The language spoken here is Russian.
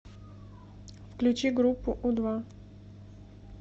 включи группу у два